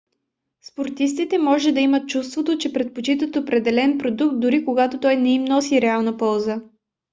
спортистите може да имат чувството че предпочитат определен продукт дори когато той не им носи реална полза